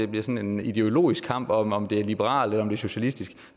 bliver til en ideologisk kamp om om det er liberalt eller om det er socialistisk